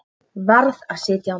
Varð að sitja á mér.